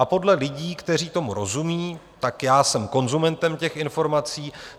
A podle lidí, kteří tomu rozumí, tak já jsem konzumentem těch informací.